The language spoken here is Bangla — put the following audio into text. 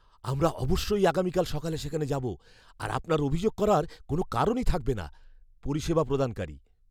আমরা অবশ্যই আগামীকাল সকালে সেখানে যাব আর আপনার অভিযোগ করার কোনও কারণ থাকবে না। পরিষেবা প্রদানকারী